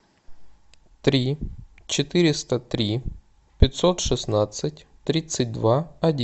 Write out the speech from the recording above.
три четыреста три пятьсот шестнадцать тридцать два